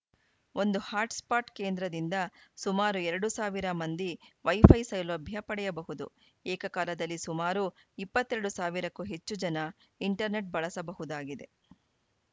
ಒಂದು ಹಾಟ್‌ಸ್ಪಾಟ್‌ ಕೇಂದ್ರದಿಂದ ಸುಮಾರು ಎರಡು ಸಾವಿರ ಮಂದಿ ವೈಫೈ ಸೌಲಭ್ಯ ಪಡೆಯಬಹುದು ಏಕಕಾಲದಲ್ಲಿ ಸುಮಾರು ಇಪ್ಪತ್ತ್ ಎರಡು ಸಾವಿರಕ್ಕೂ ಹೆಚ್ಚು ಜನ ಇಂಟರ್‌ನೆಟ್‌ ಬಳಸಬಹುದಾಗಿದೆ